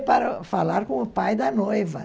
Que ia falar com o pai da noiva.